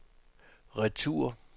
retur